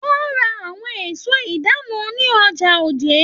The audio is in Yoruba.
Wọn ra àwọn èso ìdáná ní ọjà Òjé.